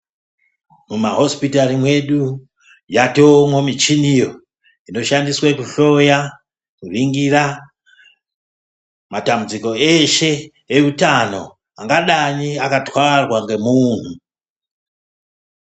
Mumahosipitari mwedu yatoomwo michiniyo inoshandiswe kuhloya, kuningira matambudziko eshe eutano angadai akatwarwa nemunhu.